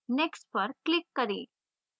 next पर click करें